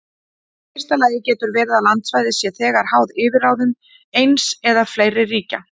Í fyrsta lagi getur verið að landsvæði sé þegar háð yfirráðum eins eða fleiri ríkja.